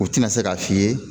U tɛna se k'a f'i ye